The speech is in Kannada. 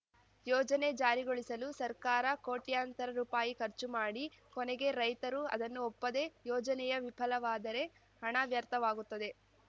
ಯೋಜನೆ ಜಾರಿಗೊಳಿಸಲು ಸರ್ಕಾರ ಕೋಟ್ಯಂತರ ರುಪಾಯಿ ಖರ್ಚು ಮಾಡಿ ಕೊನೆಗೆ ರೈತರು ಅದನ್ನು ಒಪ್ಪದೆ ಯೋಜನೆಯೇ ವಿಫಲವಾದರೆ ಹಣ ವ್ಯರ್ಥವಾಗುತ್ತದೆ